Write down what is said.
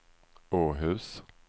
Åhus